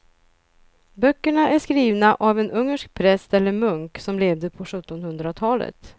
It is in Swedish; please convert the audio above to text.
Böckerna är skrivna av en ungersk präst eller munk som levde på sjuttonhundratalet.